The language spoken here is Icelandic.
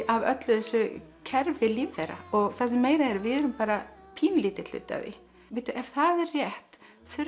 af öllu þessu kerfi lífvera og það sem meira er við erum bara pínulítill hluti af því ef það er rétt